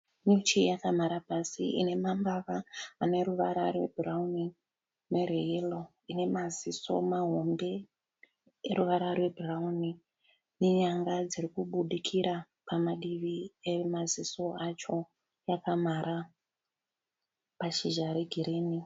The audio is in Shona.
Nyuchi yakamhara pasi ine mambava ane ruvara rwebhurawuni nerweyero. Ine maziso mahombe eruvara rwebhurawuni nenyanga dziri kubudikira pamadivi emaziso acho yakamhara pashizha regirini.